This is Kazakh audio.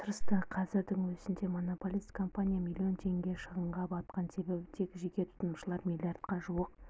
тырысты қазірдің өзінде монополист компания миллион теңге шығынға батқан себебі тек жеке тұтынушылар миллиардқа жуық